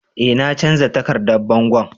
Eh na canza takardan bangon.